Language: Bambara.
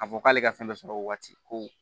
K'a fɔ k'ale ka fɛn dɔ sɔrɔ o waati ko